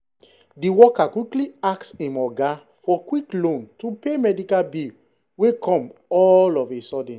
the worker quickly ask him oga for quick loan to pay medical bill wey come all of a sudden.